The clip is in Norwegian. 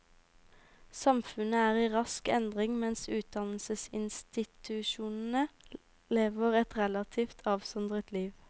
Samfunnet er i rask endring, mens utdannelsesinstitusjonene lever et relativt avsondret liv.